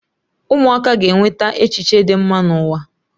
Ụmụaka ga-eweta echiche dị mma n'ụwa.